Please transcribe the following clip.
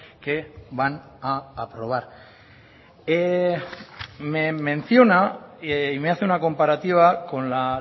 que van a aprobar me menciona y me hace una comparativa con la